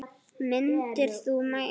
Myndir þú mæta?